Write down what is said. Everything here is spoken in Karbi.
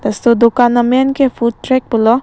laso adukan amen ke food track pulo.